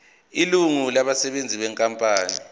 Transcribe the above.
ilungu labasebenzi benkampani